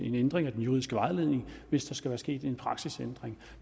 en ændring af den juridiske vejledning hvis der sket en praksisændring